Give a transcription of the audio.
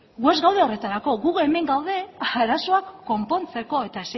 gu ez gaude horretarako gu hemen gaude arazoak konpontzeko eta